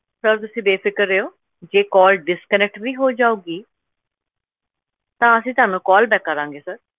Sir ਤੁਸੀਂ ਬੇਫ਼ਿਕਰ ਰਹਿਓ, ਜੇ call disconnect ਵੀ ਹੋ ਜਾਊਗੀ ਤਾਂ ਅਸੀਂ ਤੁਹਾਨੂੰ call back ਕਰਾਂਗੇ sir